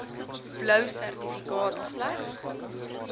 blou sertifikaat slegs